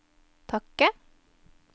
takke